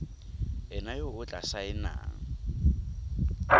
ena yo o tla saenang